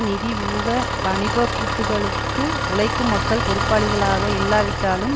நிதி ஊக வாணிப கூத்துகளுக்கு உழைக்கும் மக்கள் பொறுப்பாளிகளாக இல்லாவிட்டாலும்